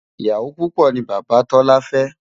ìyàwó púpò ní bàbá tola fé